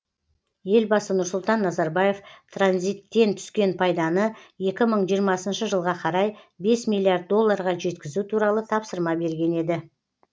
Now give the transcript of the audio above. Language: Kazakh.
елбасы нұрсұлтан назарбаев транзиттен түскен пайданы екі мың жиырмасыншы жылға қарай бес миллиард долларға жеткізу туралы тапсырма берген еді